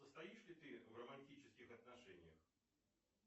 состоишь ли ты в романтических отношениях